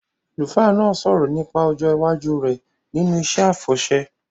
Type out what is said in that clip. Àlùfáà náà sọ̀rọ̀ nípa ọjọ́ iwájú rẹ̀ nínú iṣẹ́ àfọ̀ṣẹ